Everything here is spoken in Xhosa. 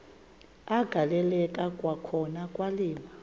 agaleleka kwakhona kwaliwa